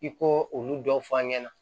I ko olu dɔw f'a ɲɛna